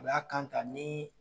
O y'a kan ta nii